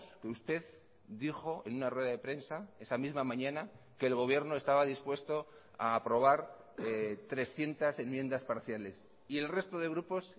que usted dijo en una rueda de prensa esa misma mañana que el gobierno estaba dispuesto a aprobar trescientos enmiendas parciales y el resto de grupos